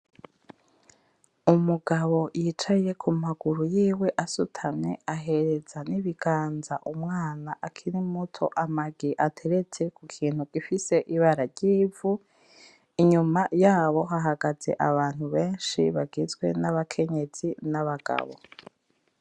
Umugabo yicaye kumaguru yiwe asutamye ahereza nibiganza umwana akiri muto amagi ateretse kukintu gifise ibara ryivu, inyuma yabo hahagaze abantu benshi bagizwe nabakenyezi nabagabo.